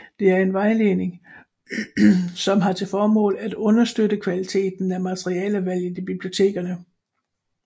Det er en vejledning som har til formål at understøtte kvaliteten af materialevalget i bibliotekerne